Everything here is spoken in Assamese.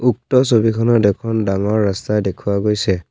উক্ত ছবিখনত এখন ডাঙৰ ৰাস্তা দেখুওৱা গৈছে।